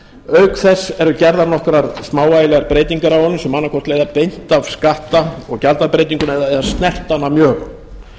auk þess eru gerðar nokkrar smávægilegar breytingar á honum sem annaðhvort leiða beint af skatta og gjaldabreytingunni eða snerta hana mjög